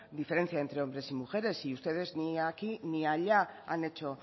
diferencia entre hombres y mujeres y ustedes ni aquí ni allá han hecho